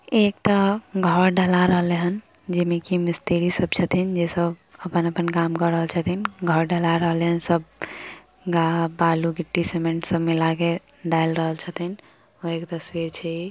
एकटा घर ढला रहले हन जे में की मिस्त्री सब छथिन जे सब अपन-अपन काम क रहल छथीन घर ढला रहालन सब बालू गिट्टी सीमेंट सब मिला क एक तस्वीर छै इ।